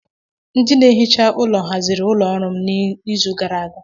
Ndị na-ehicha ụlọ haziri ụlọ ọrụ m n'izu gara aga